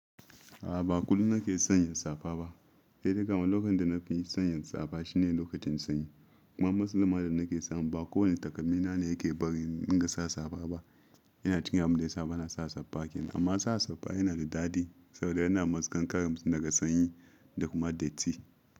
A'a, ba kullum na ke sanya safa ba. Sai dai kama lokacin da na fi sanya safa shine lokacin sanyi. Kuma matsalar da na ke samun ba kowane takalmi na ne ke bari in dinga sa safa ba. Yana cikin abun da yasa bana sa safa kin. Amma sa safa yana da daɗi saboda yana matse kankaren daga sanyi da kuma datti.